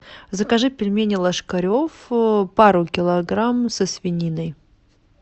закажи пельмени ложкарев пару килограмм со свининой